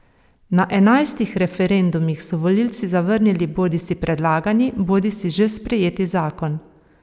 Na enajstih referendumih so volivci zavrnili bodisi predlagani bodisi že sprejeti zakon.